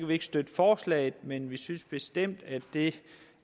vi ikke støtte forslaget men vi synes bestemt at det